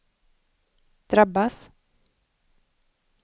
drabbas